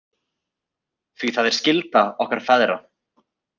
Því það er skylda okkar feðra.